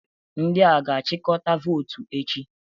Ndị a ga-achịkọta votu echi?